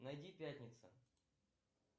найди пятница